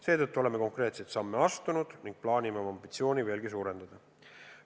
Seetõttu oleme konkreetseid samme astunud ning plaanime oma ambitsiooni veelgi võimendada.